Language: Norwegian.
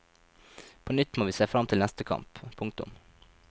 På nytt må vi se frem til neste kamp. punktum